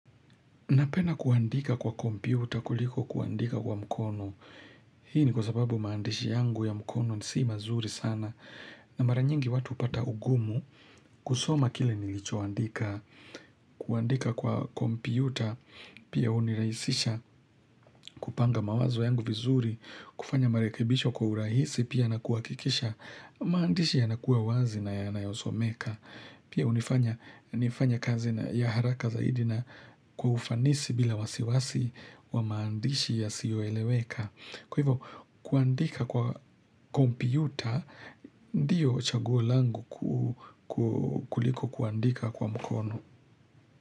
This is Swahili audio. Napenda kuandika kwa kompyuta kuliko kuandika kwa mkono. Hii ni kwa sababu maandishi yangu ya mkono si mazuri sana. Na mara nyingi watu upata ugumu kusoma kile nilichoandika. Kuandika kwa kompyuta, pia unirahisisha kupanga mawazo yangu vizuri, kufanya marekibisho kwa urahisi, pia na kuakikisha maandishi yanakuwa wazi na yanayosomeka. Pia unifanya nifanye kazi ya haraka zaidi na kufanisi bila wasiwasi wa maandishi yasiyoeleweka. Kwa hivyo kuandika kwa kompyuta ndiyo chaguo langu kuliko kuandika kwa mkono.